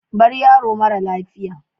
Bar yaro mara lafiya